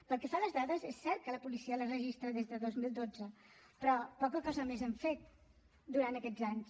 pel que fa a les dades és cert que la policia les registra des de dos mil dotze però poca cosa més hem fet durant aquests anys